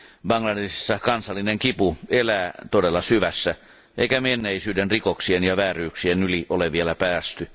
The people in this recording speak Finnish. Bangladeshissa kansallinen kipu elää todella syvässä, eikä menneisyyden rikoksien ja vääryyksien yli ole vielä päästy.